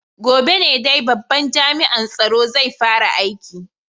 Gobe ne dai babban jami'an tsaro zai fara aiki.